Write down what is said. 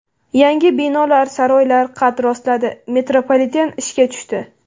Yangi binolar, saroylar qad rostladi, metropoliten ishga tushdi.